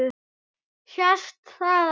Sést það ekki?